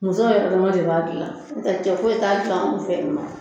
Musow yɛrɛ dama de b'a dilan n'o tɛ cɛ foyi t'a dilan an fɛ yen nɔ.